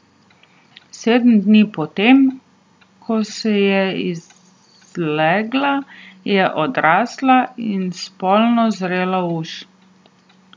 Sedem dni po tem, ko se je izlegla, je odrasla in spolno zrela uš.